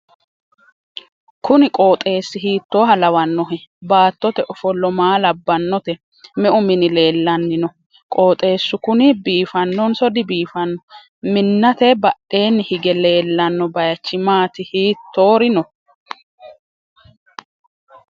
kuni qooxeessi hiittoha lawannohe? battote ofollo maa labbannote? me'u mini leellanni no?qoxeessu kuni biifannonso dibiifanno? minnate badheenni hige leellanno bayichi maati hiittori no?